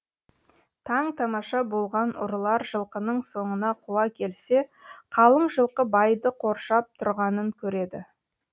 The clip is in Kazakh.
таң тамаша болған ұрылар жылқының соңынан қуа келсе қалың жылқы байды қоршап тұрғанын көреді